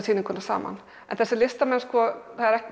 sýninguna saman en þessir listamenn